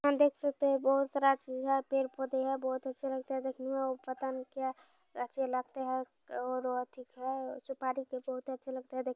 हम देख सकते है बहुत सारे चीज है पेड़ पौधे हैं बहुत अच्छे लगते है देकने में पता नहीं क्या है अच्छे लगते है